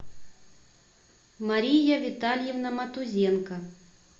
мария витальевна матузенко